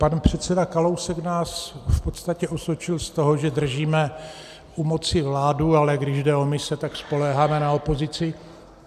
Pan předseda Kalousek nás v podstatě osočil z toho, že držíme u moci vládu, ale když jde o mise, tak spoléháme na opozici.